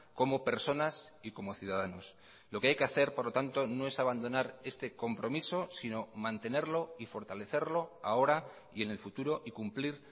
como personas y como ciudadanos lo que hay que hacer por lo tanto no es abandonar este compromiso sino mantenerlo y fortalecerlo ahora y en el futuro y cumplir